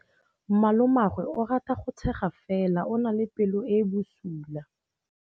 Malomagwe o rata go tshega fela o na le pelo e e bosula.